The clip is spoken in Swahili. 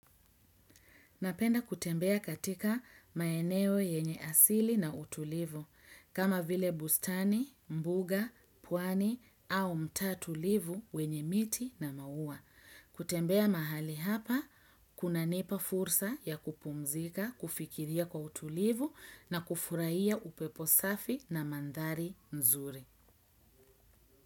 Napenda kutembea katika maeneo yenye asili na utulivu, kama vile bustani, mbuga, puani au mta tulivu wenye miti na mauwa. Kutembea mahali hapa, kunanipa fursa ya kupumzika, kufikiria kwa utulivu na kufuraiya upepo safi na mandhari nzuri.